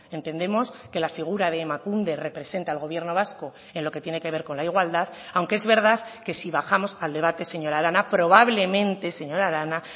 entendemos que la figura de emakunde representa al gobierno vasco en lo que tiene que ver con la igualdad aunque es verdad que si bajamos al debate señora arana probablemente señora arana